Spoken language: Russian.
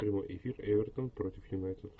прямой эфир эвертон против юнайтед